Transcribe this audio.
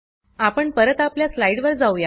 आपण परत आपल्या स्लाइड वर जाऊया